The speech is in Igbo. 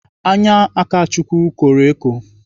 Anya Akachukwu kọrọ eko.